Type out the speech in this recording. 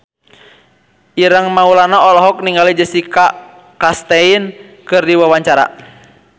Ireng Maulana olohok ningali Jessica Chastain keur diwawancara